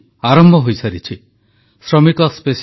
ଆତ୍ମ ନିର୍ଭର ଭାରତ ଗଠନର ଦାୟୀତ୍ୱ ନିଜ ହାତକୁ ନେଉଛନ୍ତି ଦେଶବାସୀ